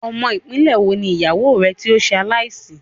Ọmọ ìpínlẹ́ wo ni ìyàwó rẹ tí ó ṣe aláì sì?